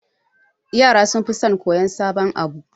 Yara sunfi son koyan sabon abu